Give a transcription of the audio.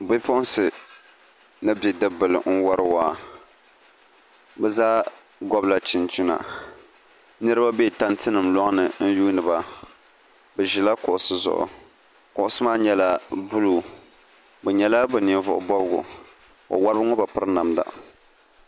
pipuɣinsi ni bidib' bila n-wari waa bɛ zaa gɔbila chinchina niriba be tantinima lɔŋni n-yuuni ba bɛ ʒila kuɣisi zuɣu kuɣisi maa nyɛla buluu bɛ nyɛla bɛ ninvuɣ' bɔbigu wawariba ŋɔ bi piri namda